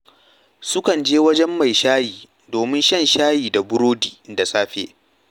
Sukan je wajen mai shayi domin shan shayi da burodi da safe